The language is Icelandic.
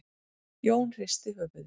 Jón hristi höfuðið.